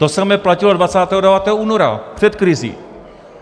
To samé platilo 29. února před krizí.